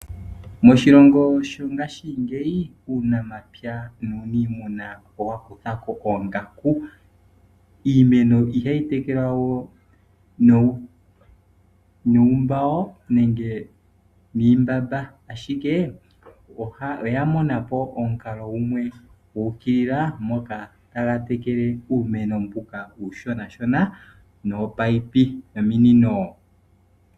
Moshilongo mongaashingeyi uunamapya owa kuthako oongaku . Iimeno ihayi tekelwa we nuumbago nenge niimbamba ,ashike oya monapo omukalo gumwe ngoka taga tekele uumeno mboka uushona nominino.